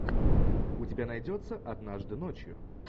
у тебя найдется однажды ночью